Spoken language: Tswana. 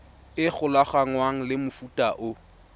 e golaganngwang le mofuta o